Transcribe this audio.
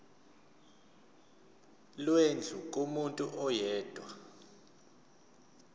lwendlu kumuntu oyedwa